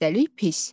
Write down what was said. Xəstəlik pis.